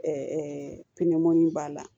Ɛɛ pimɔn b'a la